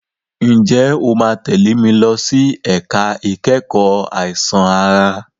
Ǹjẹ́ o máa tẹ̀lé mi lọ sí ẹ̀ka ìkẹ́kọ̀ọ́ àìsàn ara?